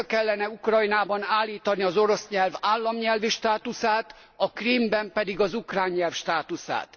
Vissza kellene Ukrajnában állítani az orosz nyelv államnyelvi státuszát, a Krímben pedig az ukrán nyelv státuszát.